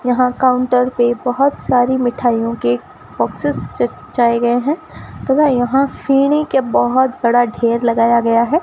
यहां काउंटर पे बहुत सारी मिठाइयों के बॉक्सेस चचाए गए हैं तथा यहां सीढ़ी के बहुत बड़ा ढेर लगाया गया है।